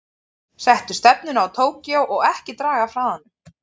Settu stefnuna á Tókýó og ekki draga af hraðanum.